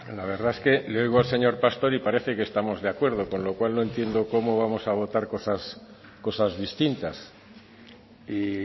la verdad es que le oigo al señor pastor y parece que estamos de acuerdo con lo cual no entiendo cómo vamos a votar cosas cosas distintas y